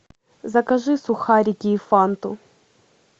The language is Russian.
закажи сухарики и фанту